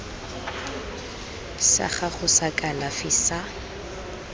sa gago sa kalafi sa